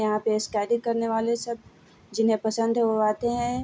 यहाँ पे स्केटिंग करने वाले सब जिन्हें पसंद है वो आते हैं।